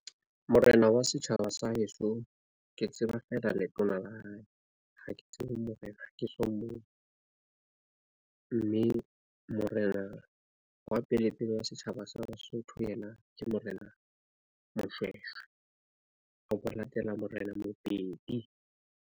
Morena wa setjhaba sa heso ke tseba feela letona la hae. Ha ke tsebe morena ha ke so mmone mme morena wa pele pele wa setjhaba sa Basotho, yena ke Morena Moshweshwe ho latela Morena Mobedi.